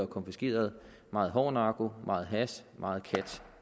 konfiskeret meget hård narko meget hash og meget kat